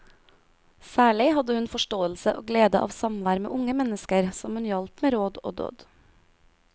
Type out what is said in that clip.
Særlig hadde hun forståelse og glede av samvær med unge mennesker, som hun hjalp med råd og dåd.